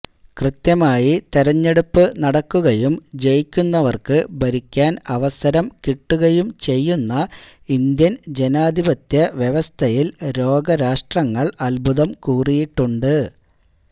കൃത്യമായി തെരഞ്ഞെടുപ്പു നടക്കുകയും ജയിക്കുന്നവര്ക്കു ഭരിക്കാന് അവസരം കിട്ടുകയും ചെയ്യുന്ന ഇന്ത്യന് ജനാധിപത്യ വ്യവസ്ഥയില് ലോകരാഷ്ട്രങ്ങള് അത്ഭുതം കൂറിയിട്ടുണ്ട്